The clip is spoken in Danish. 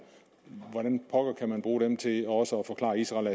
hvordan kan man bruge det til også at forklare israel